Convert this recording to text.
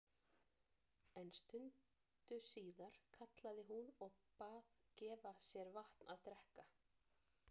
En stundu síðar kallaði hún og bað gefa sér vatn að drekka.